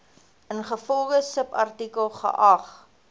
ingevolge subartikel geag